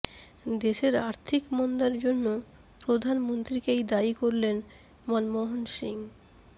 দেশের আর্থিক মন্দার জন্য প্রধানমন্ত্রীকেই দায়ী করলেন মনমোহন সিং